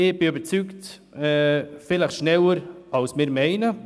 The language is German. Ich bin überzeugt, dass das schneller der Fall sein wird, als wir vielleicht meinen.